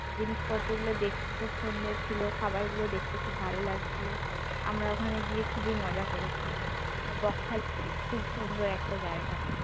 জিনিস পত্র গুলো দেখতে খুব সুন্দর ছিল খাবারগুলো দেখতে খুব ভালো লাগছিল আমরা ওখানে গিয়ে খুব মজা করেছি বকখালি খুব সুন্দর একটা জায়গা